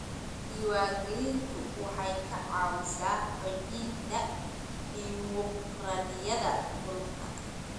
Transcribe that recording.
Diiwaangelintu waxay ka caawisaa xoojinta dimuqraadiyadda dhulka.